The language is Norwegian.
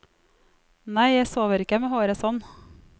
Nei, jeg sover ikke med håret sånn.